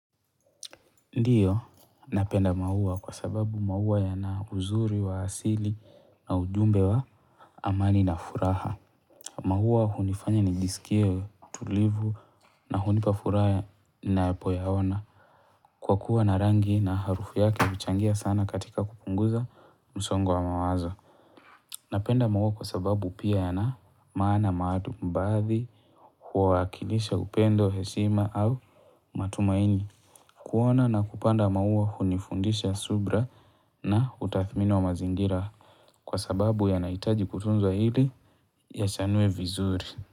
Ndiyo, napenda maua kwa sababu mauwa yana uzuri wa asili na ujumbe wa amani na furaha. Maua hunifanya nijisikie tulivu na hunipa furaha napoyaona. Kwa kuwa na rangi na harufu yake huchangia sana katika kupunguza msongo wa mawazo Napenda maua kwa sababu pia yana maana maalum, baadhi huwakilisha upendo, heshima au matumaini. Kuona na kupanda maua hunifundisha subira na utathmini wa mazingira kwa sababu yanahitaji kutunzwa ili yachanue vizuri.